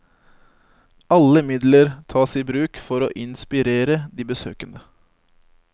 Alle midler tas i bruk for å inspirere de besøkende.